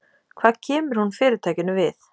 Hvað kemur hún Fyrirtækinu við?